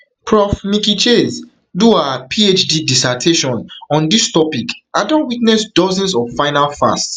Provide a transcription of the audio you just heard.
prof miki chase do her phd dissertation on dis topic and don witness dozens of final fasts